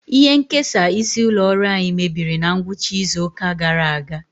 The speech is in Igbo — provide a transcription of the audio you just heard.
Ihe nkesa isi ụlọ ọrụ anyị mebiri na ngwụcha izu ụka gara aga.